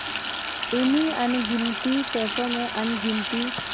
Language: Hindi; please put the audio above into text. इन्हीं अनगिनती पैसों में अनगिनती